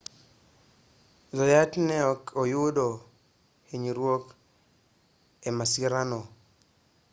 zayat ne ok oyudo hinyruok e masira no